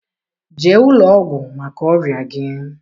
Jee ụlọọgwụ maka ọrịa gị!